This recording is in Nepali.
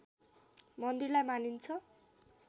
मन्दिरलाई मानिन्छ